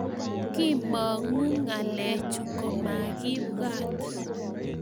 kimong'u ng'alechu komakibwaat